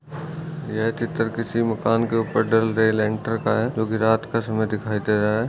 यह चित्र किसी मकान के उपर डल रही लेंटर का है क्योकि रात का समय दिखाई दे रहा है।